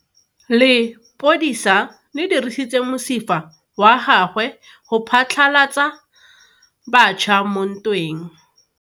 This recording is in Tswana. Lepodisa le dirisitse mosifa wa gagwe go phatlalatsa batšha mo ntweng.